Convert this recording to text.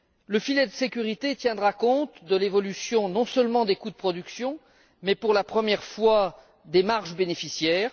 Le filet de sécurité tiendra compte de l'évolution non seulement des coûts de production mais aussi, pour la première fois, des marges bénéficiaires.